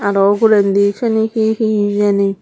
aro ugurendi siyeni hee hee hijeni.